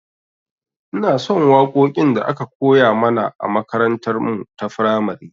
Inason waƙoƙin da aka koya mana a makarantar mu ta firamare